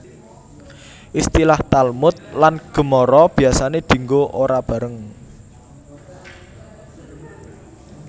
Istilah Talmud lan Gemara biasane dinggo ora bareng